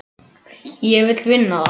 Ég vill vinna það.